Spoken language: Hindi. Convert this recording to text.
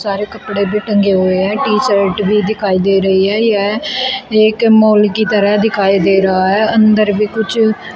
सारे कपड़े भी टंगे हुए हैं टी शर्ट भी दिखाई दे रही है यह एक मॉल की तरह दिखाई दे रहा है अंदर भी कुछ--